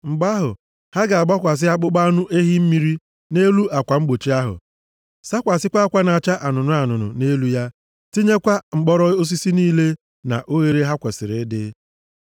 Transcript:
Mgbe ahụ, ha ga-agbakwasị akpụkpọ anụ ehi mmiri nʼelu akwa mgbochi ahụ, sakwasịkwa akwa na-acha anụnụ anụnụ + 4:6 Maọbụ, buluu nʼelu ya, tinyekwa mkpọrọ osisi niile nʼoghere ha kwesiri ịdị.